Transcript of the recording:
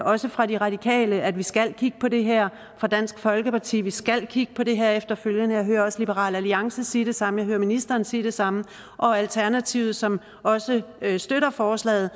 også fra de radikale nemlig at vi skal kigge på det her og dansk folkeparti vi skal kigge på det her efterfølgende og jeg hører også liberal alliance sige det samme jeg hører ministeren sige det samme og alternativet som også støtter forslaget